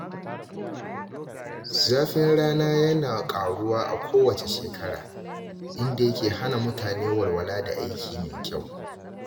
Zafin rana yana ƙaruwa a kowace shekara, inda yake hana mutane walwala da aiki mai kyau.